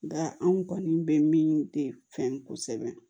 Nka anw kɔni bɛ min de fɛn kosɛbɛ